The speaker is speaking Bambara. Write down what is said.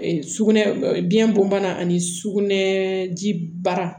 Sugunɛ biyɛn bon bana ani sugunɛ ji baara